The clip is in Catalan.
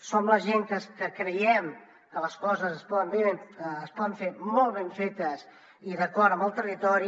som la gent que creiem que les coses es poden fer molt ben fetes i d’acord amb el territori